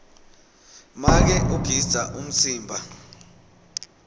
make ugidza umtsimba